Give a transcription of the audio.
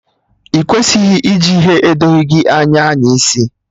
Ị kwesịghị iji ihe edoghi gị anya anyaisi